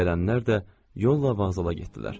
Gələnlər də yolla vağzala getdilər.